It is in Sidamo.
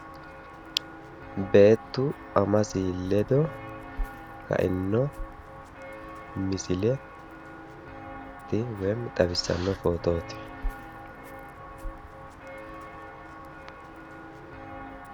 beettu amasi ledo kaino misileti woyimi xawissanno footooti